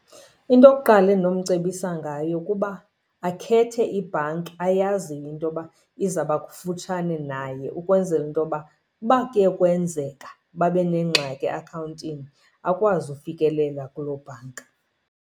Into yokuqala endinomcebisa ngayo kuba akhethe ibhanki ayaziyo into yoba izaba kufutshane naye, ukwenzela into yoba uba kuye kwenzeka babe nengxaki eakhawuntini akwazi ufikelela kuloo bhanka.